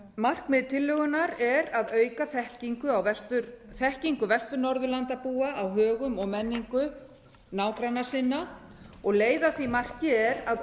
markmið tillögunnar er að auka þekkingu vestur norðurlandabúa á högum og menningu nágranna sinna og leið að því marki er að